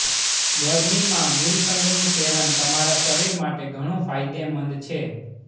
ગરમીમાં ગુલકંદનું સેવન તમારા શરીર માટે ઘણું ફાયદેમંદ છે